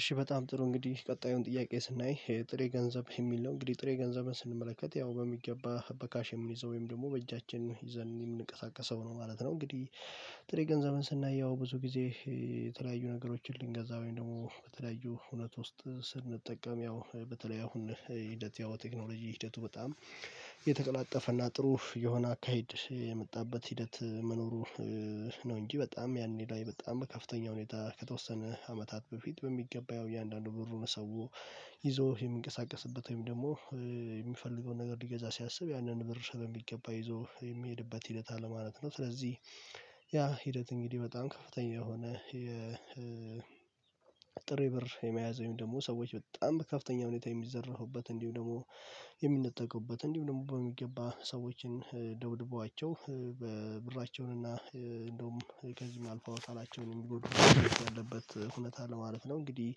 እሺ በጣም ጥሩ እንግዲህ ቀጣዩን ጥያቄ ስናይ ይሄ ጥሬ ገንዘብ የሚል ነው እንግዲህ ጥሬ ገንዘብን ስንመለከት ያው በሚገባ በካሽ የምንይዘው ወይም ደግሞ በእጃችን ይዘን የምንቀሳቀሰው ነው ማለት ነው። እንግዲህ ጥሬ ገንዘብን ስናየው ብዙ ጊዜ የተለያዩ ነገሮችን ልንገዛው ደግሞ በተለያዩ ሁነት ውስጥ ስንጠቀም ያው በተለይ አሁን ሂደት ያው ቴክኖሎጂ ሂደቱ በጣም የተቀላጠፈና ጥሩ የሆነ አካሄድ የመጣበት ሂደት መኖሩ ነው እንጂ በጣም ያኔ ላይ በጣም ከፍተኛ ሁኔታ ከተወሰነ አመታት በፊት በሚገባ ያው እያንዳንዱ ብሩን ሰው ይዞ የሚንቀሳቀስበት ወይም ደግሞ የሚፈልገውን ነገር ሊገዛ ሲያስብ ያንን ብር በሚገባ ይዞ የሚሄድበት ሂደት አለማለት ነው። ስለዚህ ያ ሂደት እንግዲህ በጣም ከፍተኛ የሆነ የ ጥሬ ብር የመያዝ ወይም ደግሞ ሰዎች በጣም ከፍተኛ ሁኔታ የሚዘራፉበት እንዲሁ ደግሞ የሚነጠቁበት እንዲሁም ደግሞ በሚገባ ሰዎችን ደብድቧቸው ብራቸውንና እንደውም ከዚህም አልፎ አካላቸውን የሚጎዱበት ሁኔታ አለ ማለት ነው እንግዲህ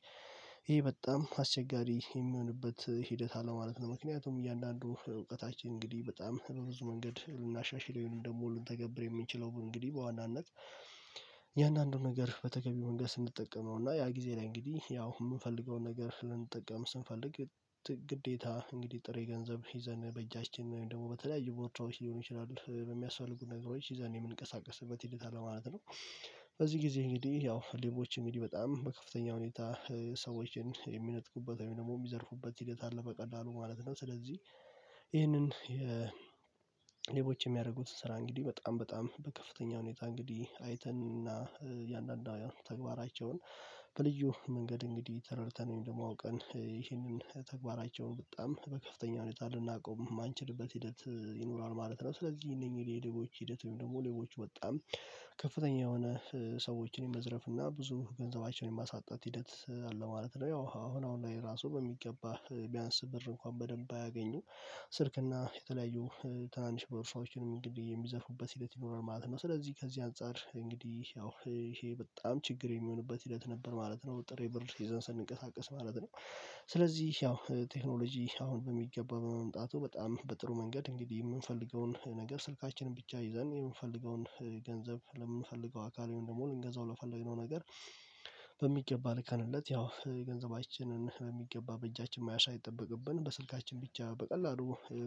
ይሄ በጣም አስቸጋሪ የሚሆንበት ሂደት አለው ማለት ነው ምክንያቱም እያንዳንዱ እውቀታችን እንግዲህ በጣም በብዙ መንገድ ልናሻሽል እንዲሁም ደግሞ ልንተገብር የምንችለው እንግዲህ በዋናነት እያንዳንዱ ነገር በተገቢ መንገድ ስንጠቀመው እና ያ ጊዜ ላይ እንግዲህ ያው የምንፈልገውን ነገር ልንጠቀም ስንፈልግ ግዴታ እንግዲህ ጥሬ ገንዘብ ይዘን በእጃችን ወይም ደግሞ በተለያዩ ቦርሳዎች ሊሆኑ ይችላሉ በሚያስፈልጉ ነገሮች ይዘን የምንቀሳቀስበት ሂደት አለ ማለት ነው። በዚህ ጊዜ እንግዲህ ያው ሌቦችን እንግዲ በጣም በከፍተኛ ሁኔታ ሰዎችን የሚነጥቁበት ወይም ደግሞ የሚዘርፉበት ሂደት አለ። መቀላሉ ማለት ነው። ስለዚህ ይህንን ሌቦች የሚያደርጉት ስራ እንግዲህ በጣም በጣም በከፍተኛ ሁኔታ እንግዲህ አይተንና እያንዳንዱ ተግባራቸውን በልዩ መንገድ እንግዲህ ተረድተን ወይም ደግሞ አውቀን ይህንን ተግባራቸውን በጣም በከፍተኛ ሁኔታ ልናቆም ማንችልበት ሂደት ይኖራል ማለት ነው። ስለዚህ እነኚህ የሌቦች ሂደት ወይም ደግሞ ሌቦች በጣም ከፍተኛ የሆነ ሰዎችን የመዝረፍ እና ብዙ ገንዘባቸውን የማሳጣት ሂደት አለ ማለት ነው። ያው አሁን አሁን ላይ ራሱ በሚገባ ቢያንስ ብር እንኳን በደንብ አያገኙም ስልክና የተለያዩ ትናንሽ በርሳዎችንም እንግዲህ የሚዘርፉበት ሂደት ይኖራል ማለት ነው። ስለዚህ ከዚህ አንፃር እንግዲህ ያው ይሄ በጣም ችግር የሚሆንበት ሂደት ነበር ማለት ነው። ጥሬ ብር ይዘን ስንቀሳቀስ ማለት ነው። ስለዚህ ያው ቴክኖሎጂ አሁን በሚገባ በመምጣቱ በጣም በጥሩ መንገድ እንግዲህ የምንፈልገውን ነገር ስልካችንን ብቻ ይዘን የምንፈልገውን ገንዘብ ለምንፈልገው አካል ወይም ደግሞ ልንገዛው ለፈለግነው ነገር በሚገባ ልከንለት ያው ገንዘባችንን በሚገባ በእጃችን መያዝ ሳይጠበቅብን በስልካችን ብቻ በቀላሉ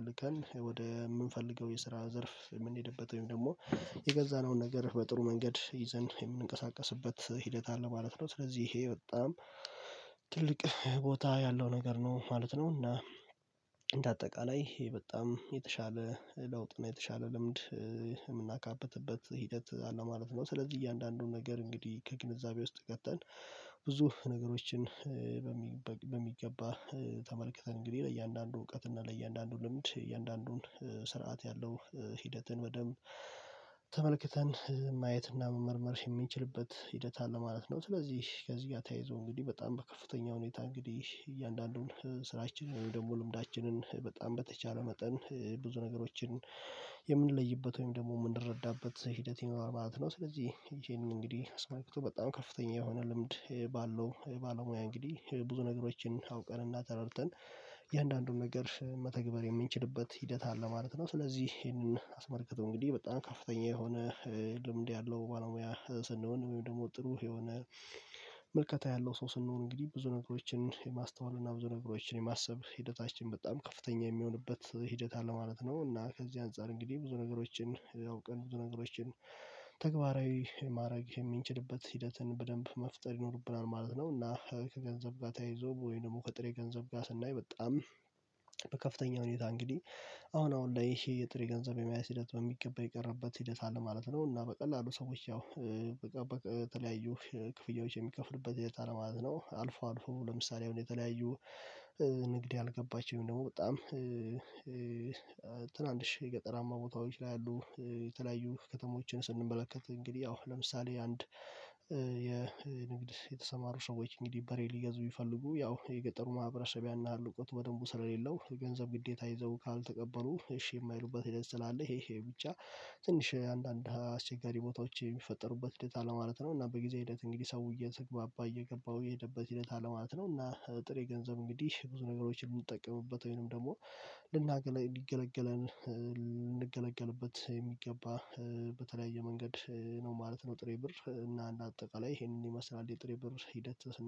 ልከን ወደ ምንፈልገው የስራ ዘርፍ የምንሄድበት ወይም ደግሞ የገዛነውን ነገር በጥሩ መንገድ ይዘን የምንቀሳቀስበት ሂደት አለ ማለት ነው። ስለዚህ ይሄ በጣም ትልቅ ቦታ ያለው ነገር ነው ማለት ነው። እና እንደ አጠቃላይ በጣም የተሻለ ለውጥ እና የተሻለ ልምድ የምናካበትበት ሂደት አለው ማለት ነው። ስለዚህ እያንዳንዱን ነገር እንግዲህ ከግንዛቤ ውስጥ ከተን ብዙ ነገሮችን በሚገባ ተመልክተን እንግዲህ ለእያንዳንዱ እውቀት እና ለእያንዳንዱ ልምድ እያንዳንዱን ስርዓት ያለው ሂደትን በደንብ ተመልክተን ማየትና መመርመር የምንችልበት ሂደት አለ ማለት ነው። ስለዚህ ከዚህ ጋር ተያይዞ እንግዲህ በጣም በከፍተኛ ሁኔታ እንግዲህ እያንዳንዱን ስራችንን ደግሞ ልምዳችንን በጣም በተቻለ መጠን ብዙ ነገሮችን የምንለይበት ወይም ደግሞ ምንረዳበት ሂደት ይኖራል ማለት ነው። ስለዚህ ይሄን እንግዲህ አስመልክቶ በጣም ከፍተኛ የሆነ ልምድ ባለው ባለሙያ እንግዲህ ብዙ ነገሮችን አውቀን እና ተረድተን የእያንዳንዱን ነገር መተግበር የምንችልበት ሂደት አለ ማለት ነው። ስለዚህ ይሄንን አስመልክቶ እንግዲህ በጣም ከፍተኛ የሆነ ልምድ ያለው ባለሙያ ስንሆን ወይም ደግሞ ጥሩ የሆነ ምልከታ ያለው ሰው ስንሆን እንግዲህ ብዙ ነገሮችን የማስተዋል እና ብዙ ነገሮችን የማሰብ ሂደታችን በጣም ከፍተኛ የሚሆንበት ሂደት አለ ማለት ነው። እና ከዚህ አንፃር እንግዲህ ብዙ ነገሮችን አውቀን ብዙ ነገሮችን ተግባራዊ ማድረግ የምንችልበት ሂደትን በደንብ መፍጠር ይኖርብናል ማለት ነው። እና ከገንዘብ ጋር ተያይዞ ወይ ደግሞ ከጥሬ ገንዘብ ጋር ስናይ በጣም በከፍተኛ ሁኔታ እንግዲህ አሁን አሁን ለይሄ የጥሬ ገንዘብ የመያዝ ሂደት በሚገባ የቀረበት ሂደት አለ ማለት ነው። እና በቀላሉ ሰዎች ያው በቃ በተለያዩ ክፍያዎች የሚከፍሉበት ሂደት አለ ማለት ነው። አልፎ አልፎ ለምሳሌ አሁን የተለያዩ ንግድ ያልገባቸው ወይም ደግሞ በጣም ትናንሽ የገጠራማ ቦታዎች ላይ ያሉ የተለያዩ ከተሞችን ስንመለከት እንግዲህ ያው ለምሳሌ አንድ የንግድ የተሰማሩ ሰዎች እንግዲህ በሬ ሊገዙ ቢፈልጉ ያው የገጠሩ ማህበረሰብ ያን ያህል እውቀቱ በደንቡ ስለሌለው የገንዘብ ግዴታ ይዘው ካልተገበሩ እሺ የማይሉበት ሂደት ስላለ ይሄ ይሄ ብቻ ትንሽ አንዳንድ አስቸጋሪ ቦታዎች የሚፈጠሩበት ሂደት አለ ማለት ነው እና በጊዜ ሂደት እንግዲህ ሰው እየተግባባ እየገባሁ የሄደበት ሂደት አለማለት ነው እና ጥሬ ገንዘብ እንግዲህ ብዙ ነገሮችን ምንጠቀምበት ወይንም ደግሞ ልናገለገለን ልንገለገልበት የሚገባ በተለያየ መንገድ ነው ማለት ነው ጥሬ ብር እና አጠቃላይ ይሄንን ይመስላል የጥሬ ብር ሂደት።